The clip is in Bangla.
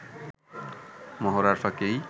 মহড়ার ফাঁকেই